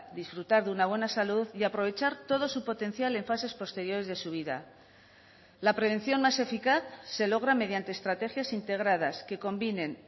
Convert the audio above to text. disfrutar de una buena salud y aprovechar todo su potencial en fases posteriores de su vida la prevención más eficaz se logra mediante estrategias integradas que combinen